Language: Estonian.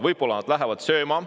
Võib-olla nad lähevad sööma.